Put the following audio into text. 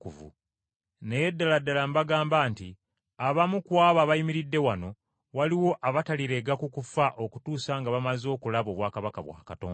“Naye ddala ddala mbagamba nti abamu ku abo abayimiridde wano waliwo abatalirega ku kufa okutuusa nga bamaze okulaba obwakabaka bwa Katonda.”